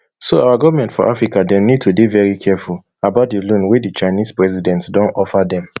so our goment for africa dem need to dey veri careful about di loan wey the chinese president don offer dem